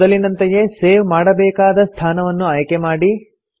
ಮೊದಲಿನಂತೆಯೇ ಸೇವ್ ಮಾಡಬೇಕಾದ ಸ್ಥಾನವನ್ನು ಆಯ್ಕೆ ಮಾಡಿ